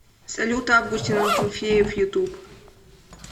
салют августин акинфеев ютуб